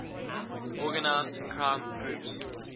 organized crime groups